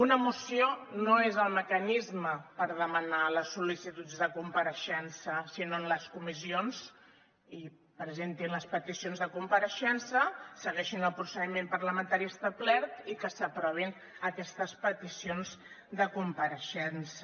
una moció no és el mecanisme per demanar les sol·licituds de compareixença sinó en les comissions i presenti les peticions de compareixença segueixin el procediment parlamentari establert i que s’aprovin aquestes peticions de compareixença